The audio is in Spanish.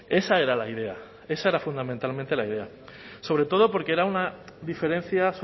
esa era la idea esa era fundamentalmente la idea sobre todo porque era una diferencia